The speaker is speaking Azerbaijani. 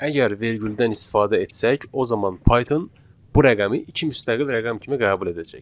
Əgər vergüldən istifadə etsək, o zaman Python bu rəqəmi iki müstəqil rəqəm kimi qəbul edəcək.